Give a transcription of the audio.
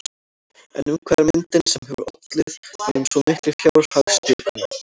En um hvað er myndin sem hefur ollið honum svo miklu fjárhagstjóni?